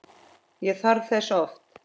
Ég þarf þess oft.